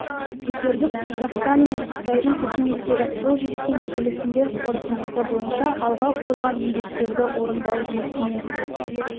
көтердік қазақстан мен қытайдың үкіметтері қол жеткен келісімдер қорытындысы бойынша алға қойылған міндеттерді орындау жұмысымен